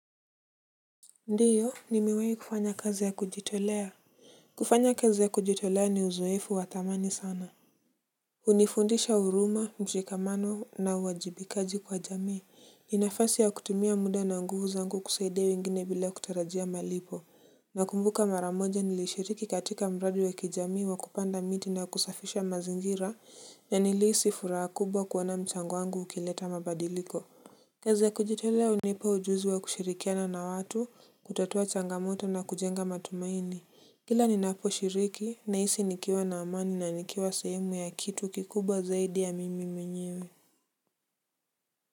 Ndio, nimewahi kufanya kazi ya kujitolea. Kufanya kazi ya kujitolea ni uzoefu wa thamani sana hunifundisha huruma, mshikamano na uwajibikaji kwa jamii ni nafasi ya kutumia muda na nguvu zangu kusaidia wengine bila kutarajia malipo nakumbuka mara moja nilishiriki katika mradi wa kijamii wa kupanda miti na kusafisha mazingira na nilihisi furahabkubwa kuona mchango wangu ukileta mabadiliko. Kazi ya kujitolea hunipa ujuzi wa kushirikiana na watu, kutatua changamoto na kujenga matumaini. Kila ninaposhiriki, nahisi nikiwa na amani na nikiwa sehemu ya kitu kikubwa zaidi ya mimi mwenyewe.